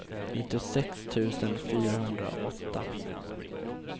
nittiosex tusen fyrahundraåtta